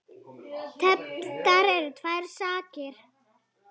Tefldar eru tvær skákir.